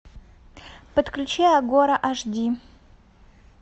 подключи агора аш ди